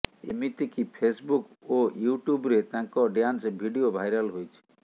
ଏମିତିକି Facebook ଓ ୟୁଟ୍ୟୁବ୍ରେ ତାଙ୍କ ଡ୍ୟାନ୍ସ ଭିଡିଓ ଭାଇରାଲ ହୋଇଛି